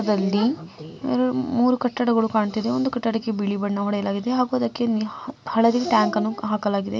ದಲ್ಲಿ ಮೂರು ಕಟ್ಟಡಗಳು ಕಾಣ್ತಿದೆ. ಒಂದು ಕಟ್ಟಡಕ್ಕೆ ಬಿಳಿ ಬಣ್ಣ ಹೊಡೆಯಲಾಗಿದೆ ಹಾಗೂ ಅದಕ್ಕೆ ಹ-ಹಳದಿ ಟ್ಯಾಂಕ್‌ ಅನ್ನು ಹಾಕಲಾಗಿದೆ.